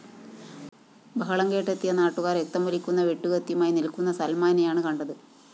ബഹളം കേട്ടെത്തിയ നാട്ടുകാര്‍ രക്തമൊലിക്കുന്ന വെട്ടുകത്തിയുമായി നില്‍ക്കുന്ന സല്‍മാനെയാണ് കണ്ടത